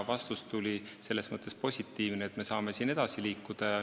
Vastus tuli selles mõttes positiivne, et me saame edasi liikuda.